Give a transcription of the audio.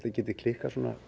geti klikkað svona